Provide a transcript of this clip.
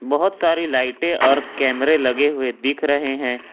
बहुत सारी लाइटे और कैमरे लगे हुए दिख रहे हैं।